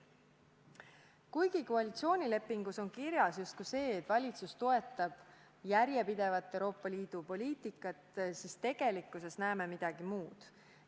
Kuigi koalitsioonilepingus on kirjas, et valitsus toetab järjepidevat Euroopa Liidu poliitikat, siis tegelikkuses näeme midagi muud.